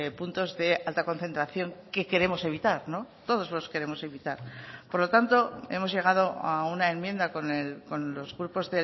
puntos de alta concentración que queremos evitar todos los queremos evitar por lo tanto hemos llegado a una enmienda con los grupos